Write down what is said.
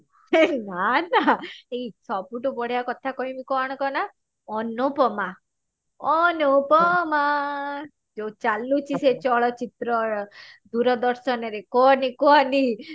ହେ ନା ବା ଏଇ ସବୁ ଠୁ ବଢିଆ କଥା କହିମି କଣ କହନା ଅନୁପମା ଅନୁପମା ଯଉ ଚାଲୁଚି ସେ ଚଳଚିତ୍ର ଦୂରଦର୍ଶନ ରେ କହନି କହନି